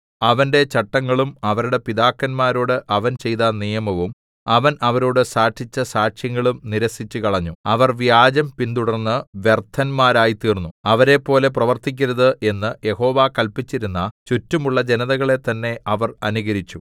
അവന്റെ ചട്ടങ്ങളും അവരുടെ പിതാക്കന്മാരോട് അവൻ ചെയ്ത നിയമവും അവൻ അവരോട് സാക്ഷിച്ച സാക്ഷ്യങ്ങളും നിരസിച്ചുകളഞ്ഞു അവർ വ്യാജം പിന്തുടർന്ന് വ്യർത്ഥരായിത്തീർന്നു അവരെപ്പോലെ പ്രർത്തിക്കരുത് എന്ന് യഹോവ കല്പിച്ചിരുന്ന ചുറ്റുമുള്ള ജനതകളെ തന്നേ അവർ അനുകരിച്ചു